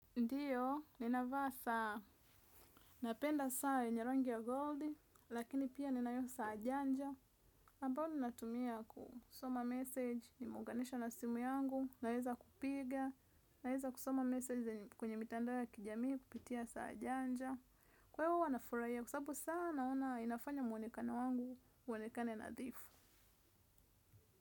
Ndiyo, ninavaa saa, napenda saa yenye rangi ya goldi, lakini pia ninayo saa janja ambao ninatumia kusoma message, nimeunganisha na simu yangu, naweza kupiga. Naweza kusoma message kwenye mitandao ya kijamii kupitia saa janja. Kwa hiyo hua nafurahia, kwa sababu saa naona inafanya muonekana wangu, uonekane nadhifu.